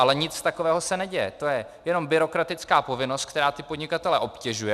Ale nic takového se neděje, to je jenom byrokratická povinnost, která ty podnikatele obtěžuje.